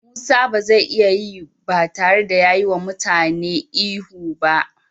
Musa ba zai iya yi ba tare da yi wa mutanen da ya jefa kansa cikin wahala ihu ba.